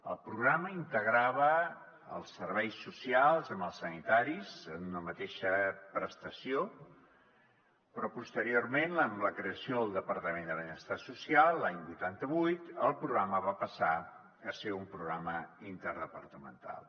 el programa integrava els serveis socials amb els sanitaris en una mateixa prestació però posteriorment amb la creació del departament de benestar social l’any vuitanta vuit el programa va passar a ser un programa interdepartamental